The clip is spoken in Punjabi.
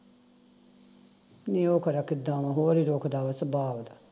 ਨਹੀਂ ਉਹ ਖਰਾ ਕਿੱਦਾਂ ਵਾਂ ਹੋਰ ਈ ਰੋਕਦਾ ਵਾ ਸੁਬਾਹ ਓਹਦਾ